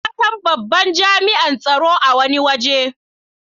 Na san babban jami'in tsaro a wani waje.